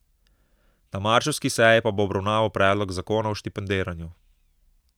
Na marčevski seji pa bo obravnaval predlog zakona o štipendiranju.